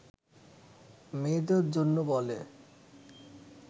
মেয়েদের জন্য বলে